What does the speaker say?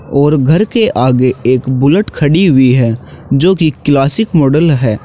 और घर के आगे एक बुलेट खड़ी है जो की क्लासिक मॉडल है।